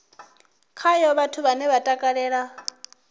khayo vhathu vhane vha takalela